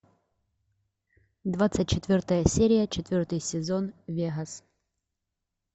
двадцать четвертая серия четвертый сезон вегас